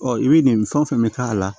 Ɔ i bɛ nin fɛn fɛn k'a la